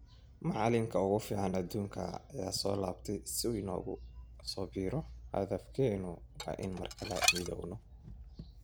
“Macalinka ugu fiican adduunka ayaa soo laabtay si uu noogu soo biiro, hadafkeenu waa inaan mar kale midowno”.